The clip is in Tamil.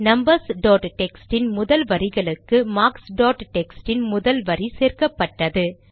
நம்பர்ஸ் டாட் டெக்ஸ்ட் இன் முதல் வரிகளுக்கு மார்க்ஸ் டாட் டெக்ஸ்ட் இன் முதல் வரி சேர்க்கப்பட்டது